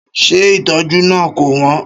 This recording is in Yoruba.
Ṣé ìtọ́jú náà kò wọ́n?